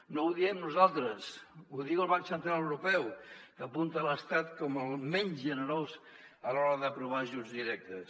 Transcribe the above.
no ho diem nosaltres ho diu el banc central europeu que apunta a l’estat com el menys generós a l’hora d’aprovar ajuts directes